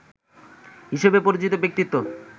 হিসেবে পরিচিত ব্যক্তিত্ব